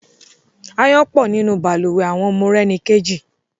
Ááyán pọ̀ nínú balùwẹ̀ àwọn Morẹ́nikéjì